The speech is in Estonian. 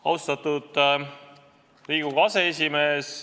Austatud Riigikogu aseesimees!